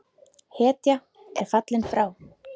Hetja er fallin frá!